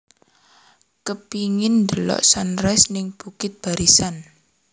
Kepingin ndelok sunrise ning Bukit Barisan